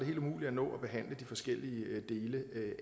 helt umuligt at nå at behandle de forskellige dele